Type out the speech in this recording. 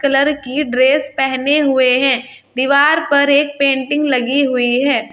लड़की ड्रेस पहने हुए हैं दीवार पर एक पेंटिंग लगी हुई है।